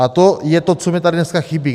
A to je to, co mi tady dneska chybí.